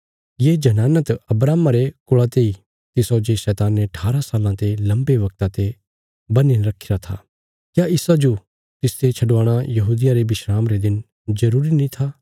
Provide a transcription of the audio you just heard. ये जनाना त अब्राहमा रे कुल़ा तेई तिसौ जे शैताने ठारां साल्लां रे लम्बे बगता ते बन्हीने रखीरा था क्या इसाजो तिसते छडवाणा यहूदियां रे विस्राम रे दिन जरूरी नीं था